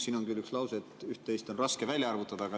Siin on küll üks lause, et üht-teist on raske välja arvutada.